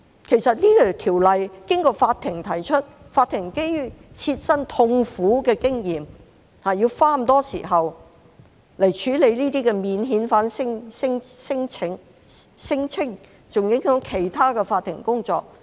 其實，《條例草案》經過法庭提出，法庭基於切身痛苦的經驗，要花很多時間來處理這些免遣返聲請，更影響其他法庭的工作。